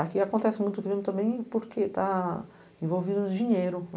Aqui acontece muito crime também porque está envolvido no dinheiro.